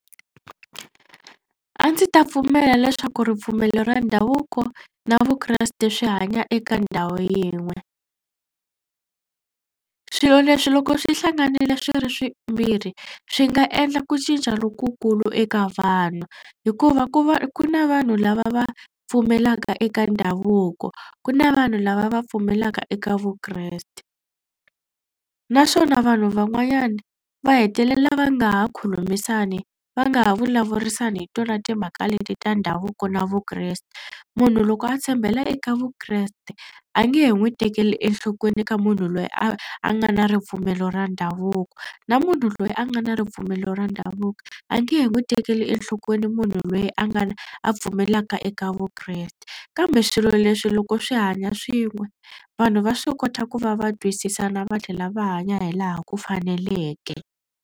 A ndzi ta pfumela leswaku ripfumelo ra ndhavuko na vukreste swi hanya eka ndhawu yin'we. Swilo leswi loko swi hlanganile swi ri swimbirhi swi nga endla ku cinca lokukulu eka vanhu hikuva ku va ku na vanhu lava va pfumelaka eka ndhavuko ku na vanhu lava va pfumelaka eka vukreste naswona vanhu van'wanyana va hetelela va nga ha khulumisani va nga ha vulavurisana hi tona timhaka leti ta ndhavuko na vukreste. Munhu loko a tshembela eka vukreste a nge he n'wi tekeli enhlokweni ka munhu loyi a a nga na ripfumelo ra ndhavuko na munhu loyi a nga na ripfumelo ra ndhavuko a nge he n'wi tekeli enhlokweni munhu loyi a nga a pfumelelaka eka vukreste kambe swilo leswi loko swi hanya swin'we vanhu va swi kota ku va va twisisana va tlhela va hanya hi laha ku faneleke.